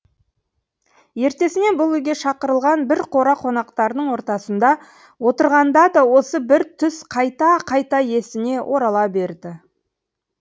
ертесіне бұл үйге шақырылған бір қора қонақтардың ортасында отырғанда да осы бір түс қайта қайта есіне орала берді